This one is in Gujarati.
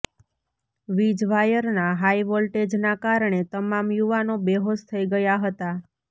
વીજ વાયરના હાઈ વોલ્ટેજનાં કારણે તમામ યુવાનો બેહોશ થઈ ગયા હતા